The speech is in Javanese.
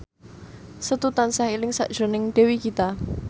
Setu tansah eling sakjroning Dewi Gita